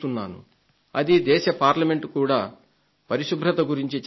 అది దేశ పార్లమెంట్ కూడా పరిశుభ్రత గురించి చర్చించడం